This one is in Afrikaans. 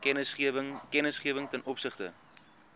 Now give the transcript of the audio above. kennisgewing ten opsigte